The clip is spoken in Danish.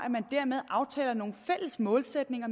at man dermed aftaler nogle fælles målsætninger